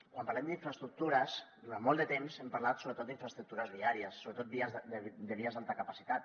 quan parlem d’infraestructures durant molt de temps hem parlat sobretot d’infraestructures viàries sobretot de vies d’alta capacitat